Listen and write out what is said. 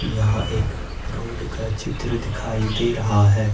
यहां एक रोड का चित्र दिखाई दे रहा है।